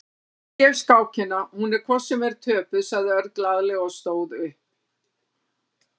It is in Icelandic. Ég gef skákina, hún er hvort sem er töpuð, sagði Örn glaðlega og stóð upp.